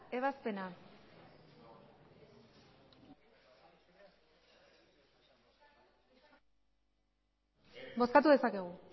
ebazpena bozkatu dezakegu